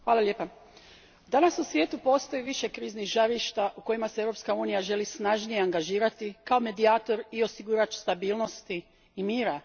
Gospodine predsjedniče, danas u svijetu postoji više kriznih žarišta u kojima se Europska unija želi snažnije angažirati kao medijator i osiguravatelj stabilnosti i mira.